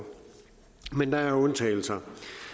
men der er undtagelser